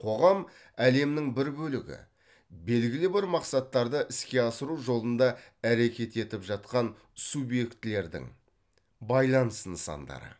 қоғам әлемнің бір бөлігі белгілі бір мақсаттарды іске асыру жолында әрекет етіп жатқан субъектілердің байланыс нысандары